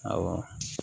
Awɔ